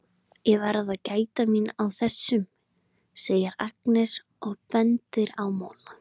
Ég verð að gæta mín á þessum, segir Agnes og bendir á molana.